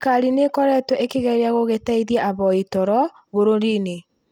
thirikari nĩ ĩkoretwo ĩkĩgeria gũgĩteithia ahoi toro bũrũriinĩ